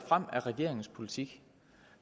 frem af regeringens politik